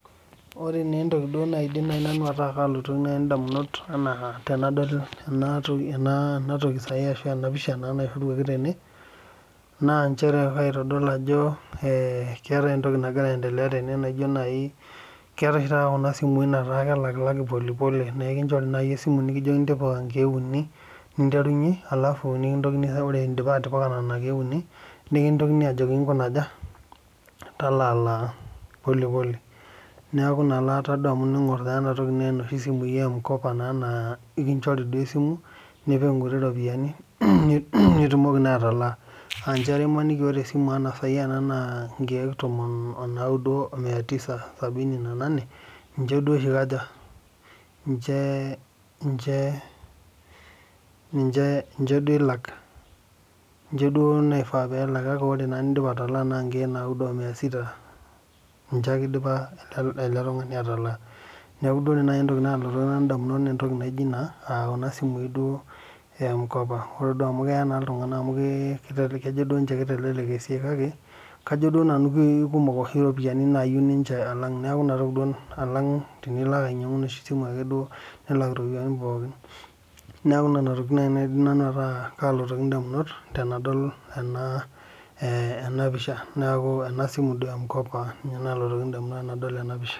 Ore nai entoki nalotu ndamunot tanadol enatoki ashu enapisha nairiwaki tene na nchere kaitadol ajo keetai entoki nagira aendelea tene keetae oshi taata kuna simui nalak makutitik na elinchori nai esimu nikijokini tipika nkiek uni nimterunye ore indipa atipika nona kiek uni nikintokini ajoki nkuna aja talaalaa polepole neaku inaalaata amu teningor naa enatoki na noshi simui e mukopo ekinchori ake esimu nipik nkuti ropiyani nitumoki atalaa aanchere imaniki aa ore mpisai enasimu na nikiek tomon omoatisa sabini na nanae ninche oahi nimche ilak ore nindipa atalaa na nkiek naudo omia sita ninye ake idipa ele tungani atalaa neaku ore entoki nalotu ndamunot na entoki nijo ena aa kuna simui emkop ore ame keya ltunganak amu kejo ninche kitelelek esiai kake kajo nanu kekumok oshi ropiyani nalak ninche alang tenilo ainyangu esimu nilak ropiyani pookin neaku nona tokitin nalotoki ndamunot tanadol tenapisha neaku enasimu emkopa nalotu ndamunot tanadol enapisha.